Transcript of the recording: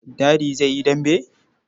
Dadi zai yi dambe.